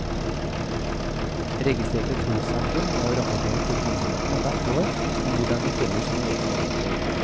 Registrerte trossamfunn må rapportere til myndighetene hvert år om hvordan de følger sine egne regler.